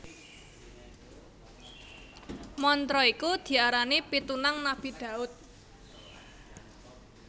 Mantra iku diarani Pitunang Nabi Daud